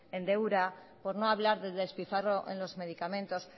en deuda por no hablar del despilfarro en los medicamentos